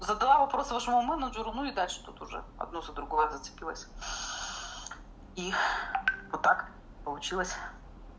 задала вопрос вашему менеджеру ну и дальше тут уже одно за другое зацепилась и вот так получилось